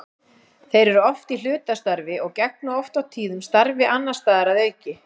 Þeir eru oft í hlutastarfi og gegna oft og tíðum starfi annars staðar að auki.